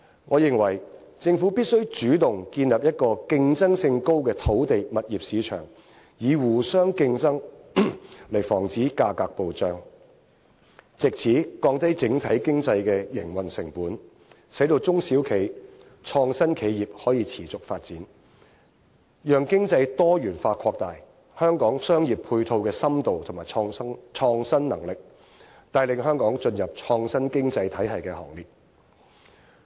我認為政府必須主動建立一個競爭性高的土地/物業市場，以互相競爭來防止價格暴漲，藉此降低整體經濟的營運成本，使到中小企創新企業可以持續發展，讓經濟多元化擴大香港配套的深度和創新能力，帶領香港進入創新經濟體系的行列。